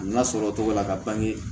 A na sɔrɔ togo la ka bange